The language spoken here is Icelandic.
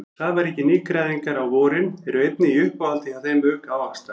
Safaríkir nýgræðingar á vorin eru einnig í uppáhaldi hjá þeim auk ávaxta.